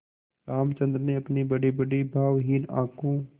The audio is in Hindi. रामचंद्र ने अपनी बड़ीबड़ी भावहीन आँखों